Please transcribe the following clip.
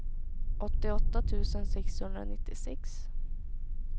åttioåtta tusen sexhundranittiosex